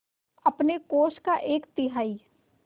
अपने कोष का एक तिहाई